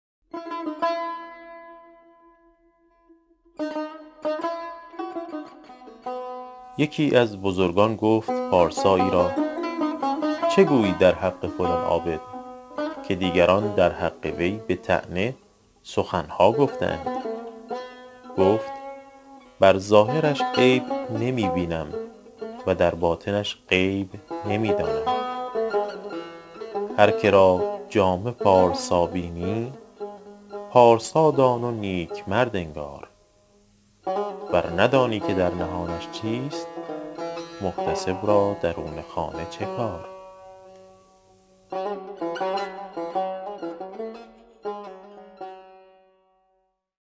یکی از بزرگان گفت پارسایی را چه گویی در حق فلان عابد که دیگران در حق وی به طعنه سخن ها گفته اند گفت بر ظاهرش عیب نمی بینم و در باطنش غیب نمی دانم هر که را جامه پارسا بینی پارسا دان و نیک مرد انگار ور ندانی که در نهانش چیست محتسب را درون خانه چه کار